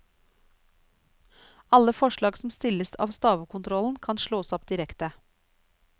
Alle forslag som stilles av stavekontrollen kan slås opp direkte.